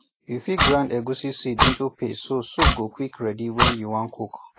you fit grind egusi seed into paste so soup go quick ready when you wan cook